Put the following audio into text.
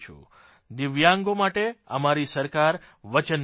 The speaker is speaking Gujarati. દિવ્યાંગો માટે અમારી સરકાર વચનબદ્ધ છે